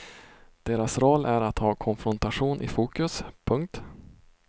Deras roll är att ha konfrontationen i fokus. punkt